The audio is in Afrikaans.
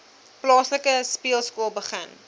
plaaslike speelskool begin